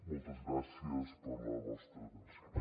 moltes gràcies per la vostra atenció